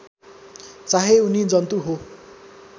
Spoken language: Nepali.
चाहे उनी जन्तु हो